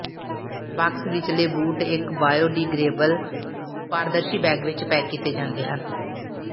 box ਵਿਚਲੇ ਬੂਟ ਇਕ ਬਾਇਓਡੀਗ੍ਰੇਏਬਲ ਪਾਰਦਰਸ਼ੀ ਬੈਗ ਵਿਚ ਪੈਕ ਕੀਤੇ ਜਾਂਦੇ ਹਨ